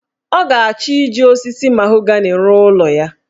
Ọ ga-achọ iji osisi mahogani rụọ ụlọ ya.